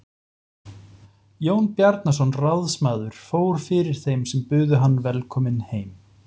Jón Bjarnason ráðsmaður fór fyrir þeim sem buðu hann velkominn heim.